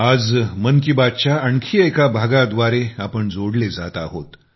आजमन की बात च्या आणखी एका भागाद्वारे आपण जोडले जात आहोत